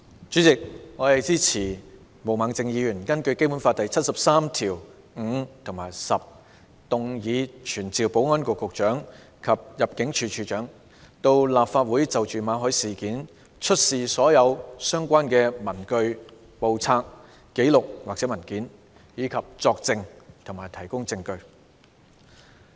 主席，我支持毛孟靜議員根據《基本法》第七十三條第五項及第十項動議的議案，傳召保安局局長及入境事務處處長到立法會就馬凱事件出示所有相關的文據、簿冊、紀錄或文件，以及作證和提供證據。